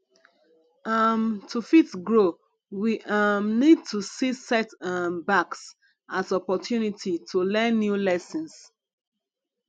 um to fit grow we um need to see set um backs as opportunity to learn new lessons